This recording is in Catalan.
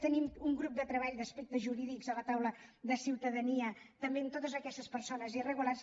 tenim un grup de treball d’aspectes jurídics a la taula de ciutadania també amb totes aquestes persones irregulars